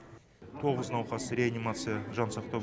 тоғыз науқас реанимация жансақтау